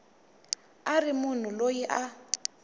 a ri munhu loyi a